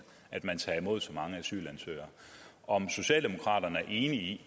at man tager imod så mange asylansøgere om socialdemokraterne er enige i